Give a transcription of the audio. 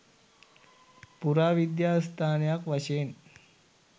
පුරාවිද්‍යා ස්ථානයක් වශයෙන්